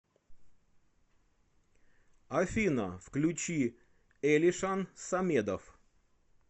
афина включи элишан самедов